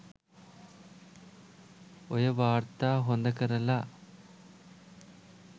ඔය වාර්තා හොද කරලා